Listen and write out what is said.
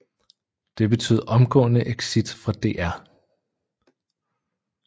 Det betød omgående exit fra DR